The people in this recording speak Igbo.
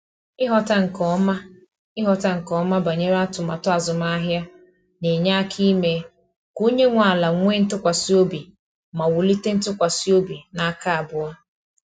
Ighọta nke ọma Ighọta nke ọma banyere atụmatụ azụmahịa na-enye aka ime ka onye nwe ala nwee ntụkwasị obi ma wulite ntụkwasị obi n’aka abụọ.